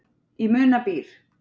Í muna býr.